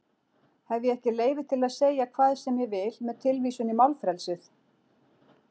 Hef ég ekki leyfi til að segja hvað sem ég vil með vísun í málfrelsið?